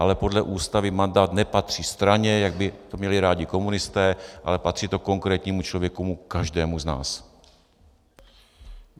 Ale podle Ústavy mandát nepatří straně, jak by to měli rádi komunisté, ale patří to konkrétnímu člověku, každému z nás.